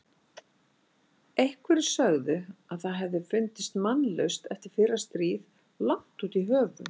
Einhverjir sögðu að það hefði fundist mannlaust eftir fyrra stríð langt út í höfum.